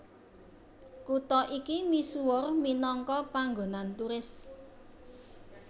Kutha iki misuwur minangka panggonan turis